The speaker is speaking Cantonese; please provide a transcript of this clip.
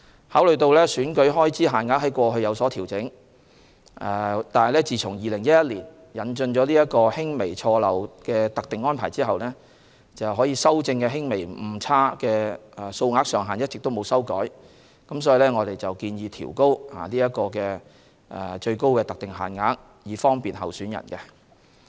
考慮到選舉開支在過去有所調整，惟自2011年引進輕微錯漏特定安排後，可修正的輕微誤差的數額上限一直未有修改，因此我們建議調高各選舉的最高特定限額，以方便候選人。